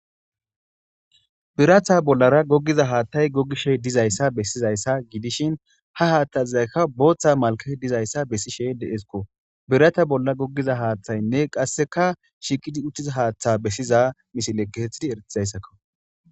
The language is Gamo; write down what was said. Biratha bollara goggiza haathtay gogishe dizayssa bessizayssa gidishin ha haathtazaykka booththa malke dizayssa bessishe deesko birata bolla goggiza haaththaynne qasseka shiqidi uttiza haaththa bessiza misile geethidi eretizayssakko.